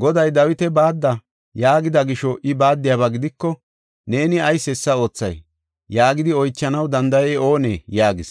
Goday, ‘Dawita baadda’ yaagida gisho I baaddiyaba gidiko, ‘Neeni ayis hessa oothay?’ yaagidi oychanaw danda7ey oonee?” yaagis.